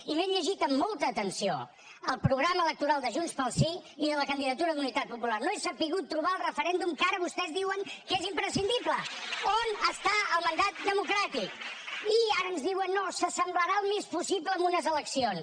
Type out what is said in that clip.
i m’he llegit amb molta atenció el programa electoral de junts pel sí i de la candidatura d’unitat popular no he sabut trobar el referèndum que ara vostès diuen que és imprescindible on està el mandat democràtic i ara ens diuen no s’assemblarà el més possible a unes eleccions